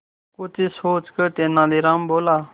कुछ सोचकर तेनालीराम बोला